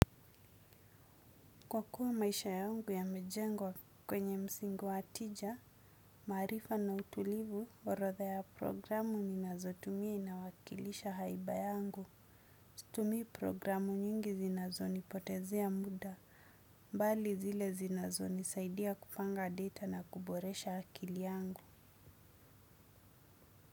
Kwa kuwa maisha yangu yame jengwa kwenye msingi wa tija, maarifa na utulivu, orodha ya programu ninazo tumia inawakilisha haiba yangu. Situmii programu nyingi zinazo nipotezea muda, bali zile zinazoni saidia kupanga data na kuboresha akili angu.